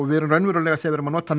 við erum raunverulega þegar við notum